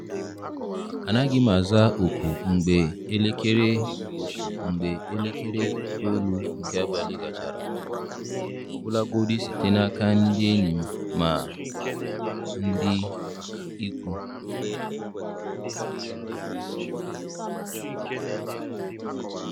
Anaghị m aza oku mgbe elekere oku mgbe elekere itoolu nke abalị gachara, ọbụlagodi site n'aka ndị enyi ma ọ bụ ndị ikwu.